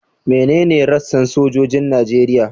Menene rassan sojojin Najeriya?